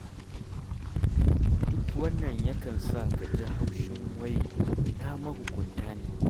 Duk wannan yakan sa ka ji haushin wai ina mahukunta ne?